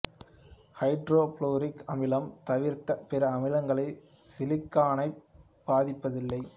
hydro fluoric அமிலம் தவிர்த்த பிற அமிலங்கள் சிலிகானைப் பாதிப்பதில்லை